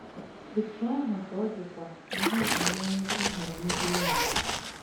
Otú ahụ ka ọ dịkwa n’ihe banyere ịhọrọ ndị enyi.